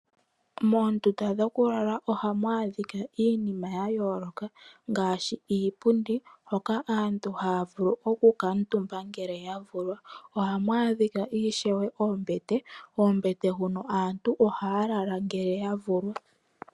Moondunda dhokulala ohamu adhika iinima ya yooloka ngashi iipundi, hoka aantu haya vulu oku kaatumba ngele ya vulwa, ohamu adhika ishewe oombete, oombete huno aantu ohaya lala ngele ya vulwa.